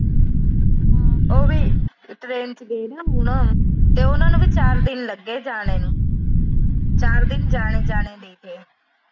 ਉਹ ਵੀ train ਚ ਗਈ ਸੀ ਹੁਣਾ ਤੇ ਉਹਨਾਂ ਨੂੰ ਵੀ ਚਾਰ ਦਿਨ ਲੱਗੇ ਜਾਣੇ ਨੂੰ। ਚਾਰ ਦਿਨ ਜਾਣੇ-ਜਾਣੇ ਦੇ।